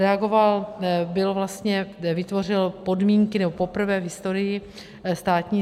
Reagoval, byl vlastně, vytvořil podmínky, nebo poprvé v historii státní...